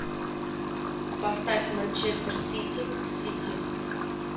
поставь манчестер сити сити